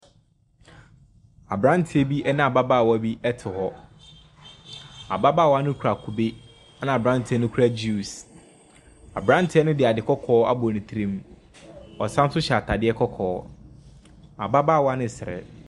Aberanteɛ bi ne ababaawa bi te hɔ, ababaawa no kita kube na aberanteɛ no kita juice. Aberanteɛ no de ade kɔkɔɔ abɔ ne tirim, ɔsan so hyɛ ataade kɔkɔɔ. Ɔbaa no ɛresere.